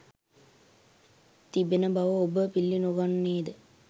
තිබෙන බව ඔබ පිළිනොගන්නේද?